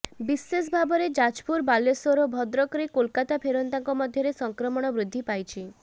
ବିଶେଷ ଭାବରେ ଯାଜପୁର ବାଲେଶ୍ୱର ଓ ଭଦ୍ରକରେ କୋଲକାତା ଫେରନ୍ତାଙ୍କ ମଧ୍ୟରେ ସଂକ୍ରମଣ ବୃଦ୍ଧି ପାଇଛି